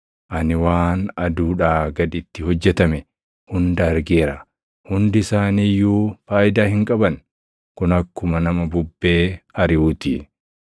Ani waan aduudhaa gaditti hojjetame hunda argeera; hundi isaanii iyyuu faayidaa hin qaban; kun akkuma nama bubbee ariʼuu ti.